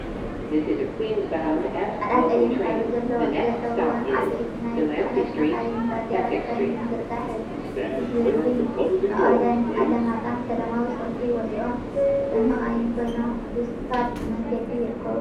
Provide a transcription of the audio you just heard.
ጻዕዳን ቀይሕን ሕብሪ ዘለዎን ዓበይቲ ናይ ጽዕነት መካይን ባንዴራ ትግራይ ብምዝርጋሕ ህዝቢ መቀለን ኣለማጣን ሰለማዊ ሰልፊ ወጺኦም ኣብተን መካይን ኮይኖም ብስፓልት መንገዲ ይርከቡ።